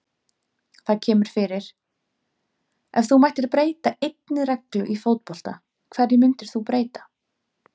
Það kemur fyrir Ef þú mættir breyta einni reglu í fótbolta, hverju myndir þú breyta?